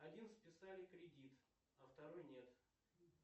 один списали кредит а второй нет